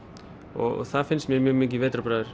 og það finnst mér mjög mikið